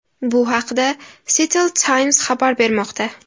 Bu haqda Seattle Times xabar bermoqda .